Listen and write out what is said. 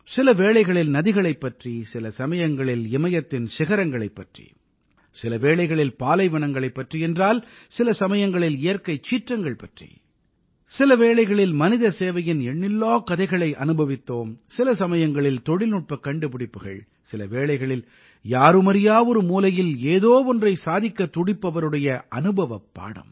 சில வேளைகளில் நதிகளைப் பற்றி சில சமயங்களில் இமயத்தின் சிகரங்களைப் பற்றி சில வேளைகளில் பாலைவனங்களைப் பற்றி என்றால் சில சமயங்களில் இயற்கைச் சீற்றங்கள் பற்றி சில வேளைகளில் மனித சேவையின் எண்ணில்லாக் கதைகளை அனுபவித்தோம் சில சமயங்களில் தொழில்நுட்பக் கண்டுபிடிப்புகள் சில வேளைகளில் யாருமறியா ஒரு மூலையில் ஏதோ ஒன்றை சாதிக்கத் துடிப்பவருடைய அனுபவப் பாடம்